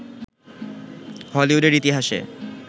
হলিউডের ইতিহাসে